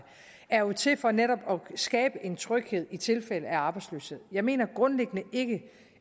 er jo til for netop at skabe en tryghed i tilfælde af arbejdsløshed jeg mener grundlæggende ikke